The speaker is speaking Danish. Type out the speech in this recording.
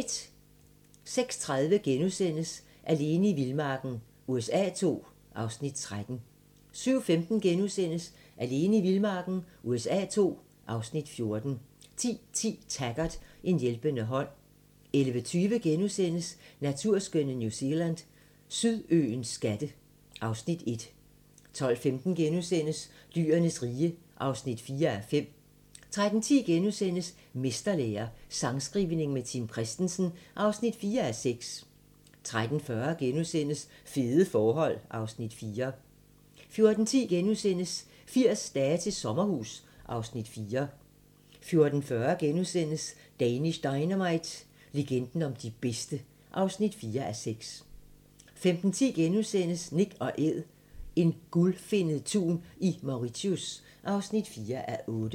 06:30: Alene i vildmarken USA II (Afs. 13)* 07:15: Alene i vildmarken USA II (Afs. 14)* 10:10: Taggart: En hjælpende hånd 11:20: Naturskønne New Zealand: Sydøens skatte (Afs. 1)* 12:15: Dyrenes rige (4:5)* 13:10: Mesterlære - sangskrivning med Tim Christensen (4:6)* 13:40: Fede forhold (Afs. 4)* 14:10: 80 dage til sommerhus (Afs. 4)* 14:40: Danish Dynamite – legenden om de bedste (4:6)* 15:10: Nak & Æd - en gulfinnet tun i Mauritius (4:8)*